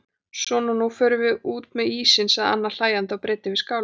Svona nú förum við út með ísinn sagði Anna hlæjandi og breiddi yfir skálina.